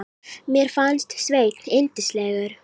Mér fannst Sveinn yndislegur.